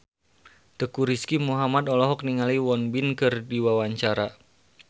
Teuku Rizky Muhammad olohok ningali Won Bin keur diwawancara